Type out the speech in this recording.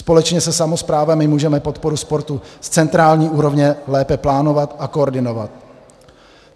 Společně se samosprávami můžeme podporu sportu z centrální úrovně lépe plánovat a koordinovat.